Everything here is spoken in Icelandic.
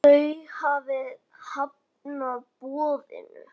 Þau hafi hafnað boðinu.